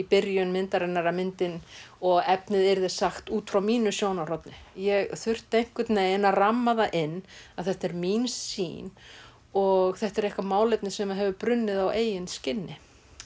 byrjun myndarinnar að myndin og efnið yrði sagt út frá mínu sjónarhorni ég þurfti einhvern veginn að ramma það inn að þetta er mín sýn og þetta er eitthvað málefni sem hefur brunnið á eigin skinni